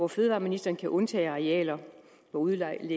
fødevareministeren kan undtage arealer hvor udlægget